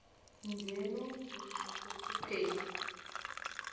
nje nomntu osephupheni